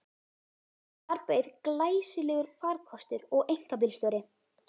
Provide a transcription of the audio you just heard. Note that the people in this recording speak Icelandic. Þar beið glæsilegur farkostur og einkabílstjóri.